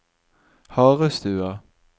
Harestua